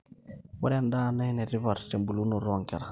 ore endaa naa enetipat tebulunoto oonkera